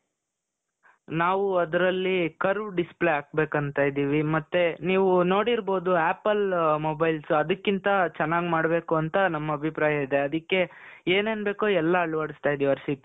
ನಾವು ಅದರಲ್ಲಿ curve display ಹಾಕಬೇಕು ಅಂತ ಇದ್ದೀವಿ ಮತ್ತೆ ನೀವು ನೋಡಿರಬಹುದು apple mobiles ಅದಕ್ಕಿಂತ ಚೆನ್ನಾಗಿ ಮಾಡಬೇಕು ಅಂತ ನಮ್ಮ ಅಭಿಪ್ರಾಯ ಇದೆ ಅದಕ್ಕೆ ಏನೇನು ಬೇಕು ಎಲ್ಲಾ ಅಳವಡಿಸ್ತಾ ಇದ್ದೀವಿ ಹರ್ಷಿತ್ .